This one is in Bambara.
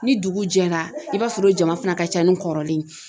Ni dugu jɛra i b'a sɔrɔ o jama fana ka ca ni kɔrɔlen ye.